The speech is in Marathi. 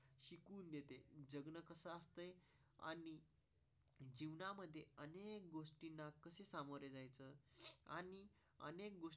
अमो रिजन आणि अनेक गोष्टी.